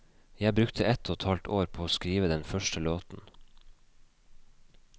Jeg brukte ett og et halvt år på å skrive den første låten.